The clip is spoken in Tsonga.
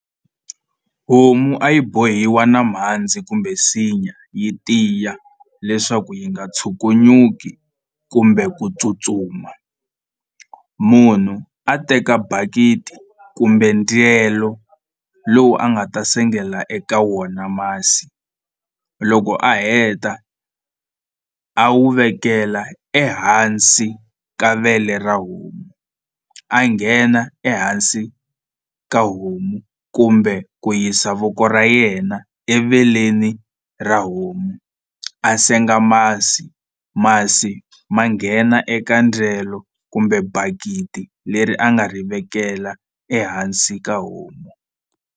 Homu a yi bohiwa na mhandzi kumbe nsinya yi tiya leswaku yi nga tshukunyuki kumbe ku tsutsuma munhu a teka bakiti kumbe ndyelo lowu a nga ta sengela eka wona masi loko a heta a wu vekela ehansi ka vele ra homu a nghena ehansi ka homu kumbe ku yisa voko ra yena eveleni ra homu a senga masi masi ma nghena eka ndyelo kumbe bakiti leri a nga ri vekela ehansi ka homu.